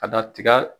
Ka da tiga